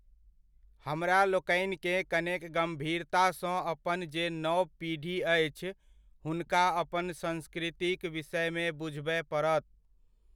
हमरा लोकनिकेँ कनेक गम्भीरतासँ अपन जे नव पीढ़ी अछि, हुनका अपन संस्कृतिक विषयमे बुझबय पड़त।